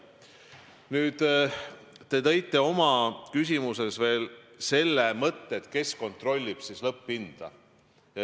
Te tõite oma küsimuses välja veel selle mõtte, kes kontrollib lõpphinda.